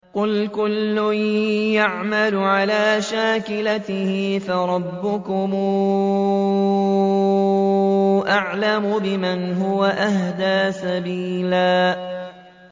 قُلْ كُلٌّ يَعْمَلُ عَلَىٰ شَاكِلَتِهِ فَرَبُّكُمْ أَعْلَمُ بِمَنْ هُوَ أَهْدَىٰ سَبِيلًا